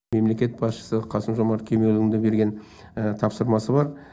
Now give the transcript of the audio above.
мемлекет басшысы қасым жомарт кемелұлының берген тапсырмасы бар